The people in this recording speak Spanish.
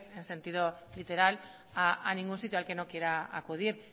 en sentido literal a ningún sitio al que no quiera acudir